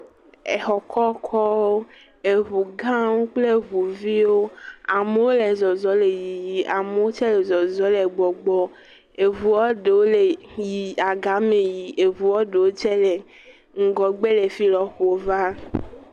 Exɔ kɔkɔwo, eʋu gãwo kple eʋu viwo, amowo le zɔzɔ le yiyi, amowo tse le zɔzɔ le gbɔgbɔ, eʋuɔ ɖowo le agame yi, eʋuɔ ɖowo tse le ŋgɔgbe le fi lɔƒo va.